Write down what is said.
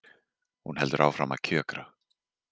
Hún heldur áfram að kjökra.